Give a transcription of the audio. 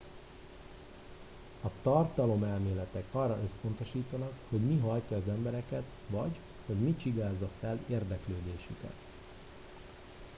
a tartalomelméletek arra összpontosítanak hogy mi hajtja az embereket vagy hogy mi csigázza fel az érdeklődésüket